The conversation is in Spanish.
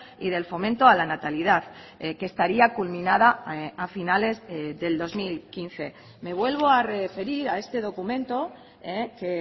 y del fomento a la natalidad que estaría culminada a finales del dos mil quince me vuelvo a referir a este documento que